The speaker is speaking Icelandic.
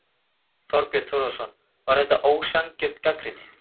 Þorbjörn Þórðarson: Var þetta ósanngjörn gagnrýni?